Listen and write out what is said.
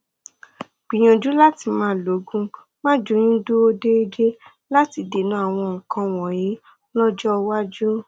gbìyànjú láti máa lo oògùn máàjóyúndúró déédéé láti dènà àwọn nǹkan wọnyí lọjọ iwájú